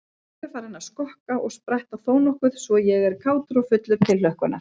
Ég er farinn að skokka og spretta þónokkuð svo ég er kátur og fullur tilhlökkunar.